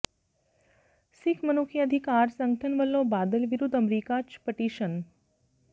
ਸਿੱਖ ਮਨੁੱਖੀ ਅਧਿਕਾਰ ਸੰਗਠਨ ਵਲੋਂ ਬਾਦਲ ਵਿਰੁੱਧ ਅਮਰੀਕਾ ਚ ਪਟੀਸ਼ਨ